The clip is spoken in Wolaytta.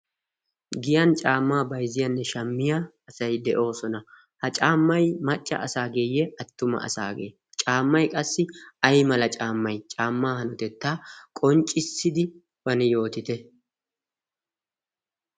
giyan caammaa baizziyaanne shaammiya asai de7oosona. ha caammai macca asaageeyye attuma asaagee? caammai qassi ai mala caammai? caammaa hanotettaa qonccissidi ane yootite.